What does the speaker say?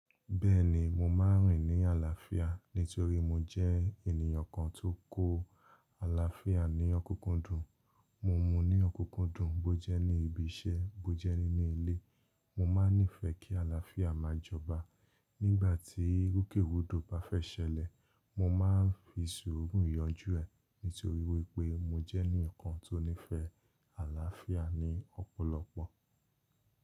Bẹ́ẹ̀ni mo máa ń rìn ní àlàáfíà nítorí mo jẹ́ ènìyàn kan tó kó àlàáfíà ní ọkúkúndùn. Mo mú un ní ọkúkúndùn bó jẹ́ ní ibi iṣẹ́, bó jẹ́ nínú ilé. Mo máa nífẹ̀ẹ́ kí àlàáfíà máa jọba. Nígbà tí rúkèrúdò bá fẹ́ ṣẹlẹ̀, mo máa ń fi sùúrù yanjú ẹ̀ nítorí wípé mo jẹ́ ẹnì kan tó nífẹ̀ẹ́ àlàáfíà ní ọ̀pọ̀lọpọ̀.